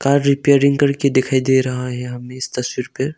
और रिपेयरिंग करके दिखाई दे रहा है हमे इस तस्वीर पे।